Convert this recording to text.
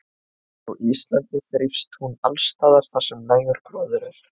Á Íslandi þrífst hún alls staðar þar sem nægur gróður er.